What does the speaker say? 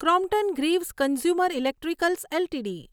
Crompton Greaves Consumer Electricals LTD